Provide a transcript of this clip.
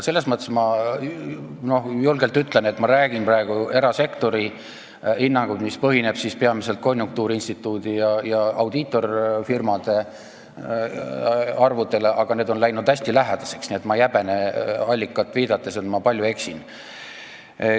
Selles mõttes ma julgelt ütlen, et ma räägin praegu erasektori hinnangust, mis põhineb peamiselt konjunktuuriinstituudi ja audiitorfirmade arvudel, aga need on läinud hästi lähedaseks, nii et ma ei arva allikatele viidates, et ma palju eksin.